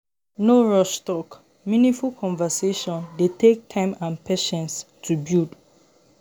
No rush talk; meaningful conversation dey take time and patience to build.